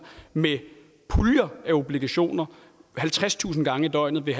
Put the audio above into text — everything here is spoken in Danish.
med puljer af obligationer halvtredstusind gange i døgnet vil